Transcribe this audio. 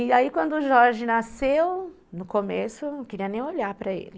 E aí quando o Jorge nasceu, no começo eu não queria nem olhar para ele.